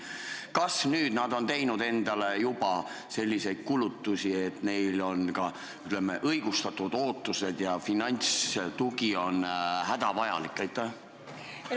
Kas nüüd nad on teinud endale juba selliseid kulutusi, et neil on ka, ütleme, õigustatud ootused ja finantstugi on hädavajalik?